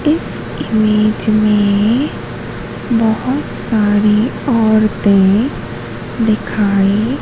इस इमेज में बहुत सारी औरतें दिखाई--